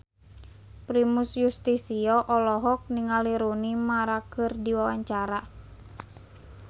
Primus Yustisio olohok ningali Rooney Mara keur diwawancara